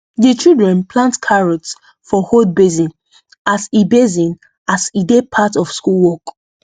the children plant carrots for old basin as e basin as e dey part of school work